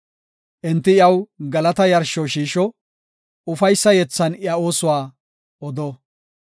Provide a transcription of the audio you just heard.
Enti iyaw galata yarsho shiisho; ufaysa yethan iya oosuwa odo.